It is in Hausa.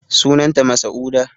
Sunan ta masa'uda